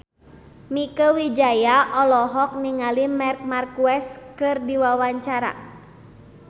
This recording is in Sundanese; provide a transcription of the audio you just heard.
Mieke Wijaya olohok ningali Marc Marquez keur diwawancara